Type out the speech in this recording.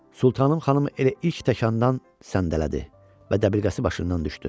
Sultanım xanım elə ilk təkandan səndələdi və dəbilqəsi başından düşdü.